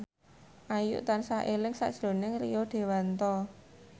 Ayu tansah eling sakjroning Rio Dewanto